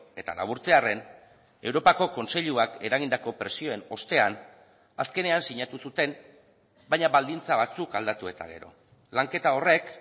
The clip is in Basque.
eta laburtzearren europako kontseiluak eragindako presioen ostean azkenean sinatu zuten baina baldintza batzuk aldatu eta gero lanketa horrek